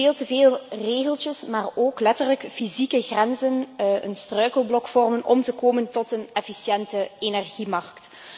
Dat nog veel te veel regeltjes, maar ook letterlijk fysieke grenzen een struikelblok vormen om te komen tot een efficiënte energiemarkt.